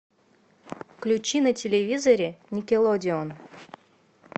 включи на телевизоре никелодеон